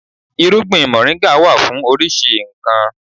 Irúgbìn moringa wà fún oríṣi nkan.